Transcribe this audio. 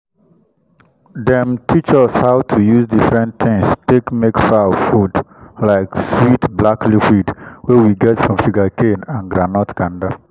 dem teach us how to use different things take make fowl food like sweet black liquid wey we get from sugarcane and groundnut kanda